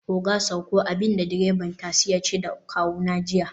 oga sauko!, abinda direban tasi yace da kawuna jiya